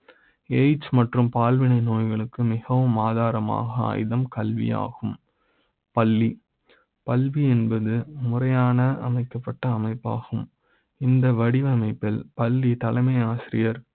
. AIDS மற்றும் பால்வினை நோய்களுக்கு மிக வும் ஆதாரமாக ஆயுத ம் கல்வி யாகும் பள்ளி கல்வி என்பது முறையான அமைக்கப்பட்ட அமைப்பு ஆகும் இந்த வடிவமைப்பில் பள்ளி தலைமை ஆசிரியர்